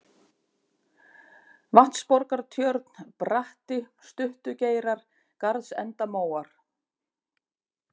Vatnsborgartjörn, Bratti, Stuttugeirar, Garðsendamóar